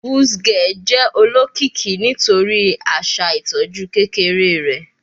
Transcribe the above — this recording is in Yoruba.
Buzz ge jẹ olokiki nitori aṣa itọju kekere rẹ